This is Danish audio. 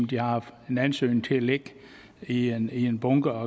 de har haft en ansøgning liggende i en en bunke og